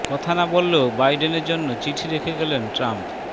কথা না বললেও বাইডেনের জন্য চিঠি রেখে গেলেন ট্রাম্প